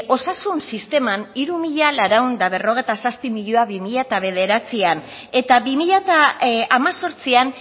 osasun sisteman hiru mila laurehun eta berrogeita zazpi milioi bi mila bederatzian eta bi mila hemezortzian